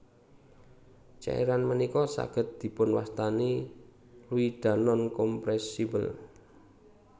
Cairan ménika sagéd dipunwastani Fluidanonkompresibel